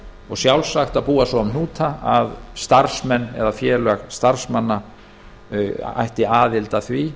og sjálfsagt að búa svo um hnúta að starfsmenn eða félag starfsmanna ætti aðild að því